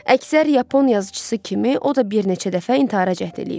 Əksər Yapon yazıçısı kimi o da bir neçə dəfə intihara cəhd eləyib.